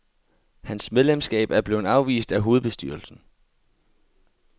Hans medlemskab er blevet afvist af hovedbestyrelsen.